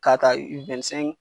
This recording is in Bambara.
K'a taa i wɛn ni sɛnki